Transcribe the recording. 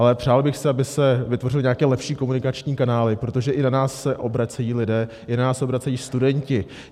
Ale přál bych si, aby se vytvořily nějaké lepší komunikační kanály, protože i na nás se obracejí lidé, i na nás se obracejí studenti.